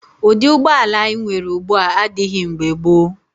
Ụdị ụgbọala anyị nwere ugbu a adịghị mgbe gboo.